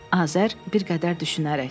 Azər, bir qədər düşünərək.